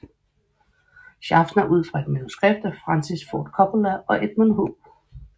Schaffner ud fra et manuskript af Francis Ford Coppola og Edmund H